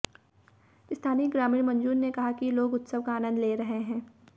स्थानीय ग्रामीण मंजूर ने कहा कि लोग उत्सव का आनंद ले रहे हंै